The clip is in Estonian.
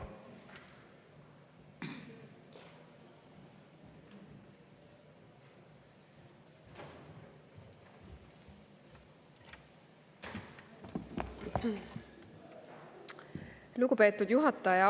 Lugupeetud juhataja!